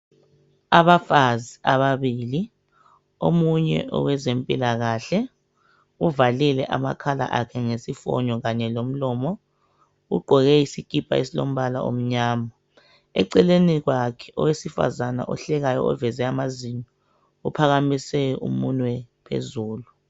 Abafazi ababili omunye owezempilakahle uvalile amakhala akhe ngesifonyo kanye lomlomo ugqoke isikipa esilombala omnyama . Eceleni kwakhe owesifazana ohlekayo oveze amazinyo uphakamise umunwe phezulu .